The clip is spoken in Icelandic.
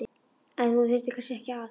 En þú þyrftir kannski ekki að.